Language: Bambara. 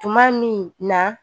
Tuma min na